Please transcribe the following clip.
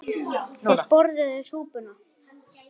Þeir borðuðu súpuna.